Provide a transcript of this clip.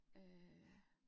Øh